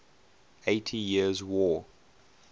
eighty years war